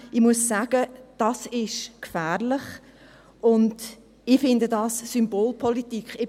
Ich muss sagen, dies ist gefährlich, und ich finde dies Symbolpolitik.